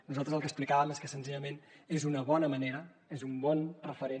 nosaltres el que explicàvem és que senzillament és una bona manera és un bon referent